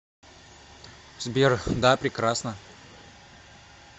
сбер да прекрасно